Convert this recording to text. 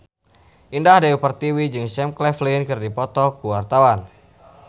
Indah Dewi Pertiwi jeung Sam Claflin keur dipoto ku wartawan